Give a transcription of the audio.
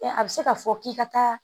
A a bɛ se k'a fɔ k'i ka taa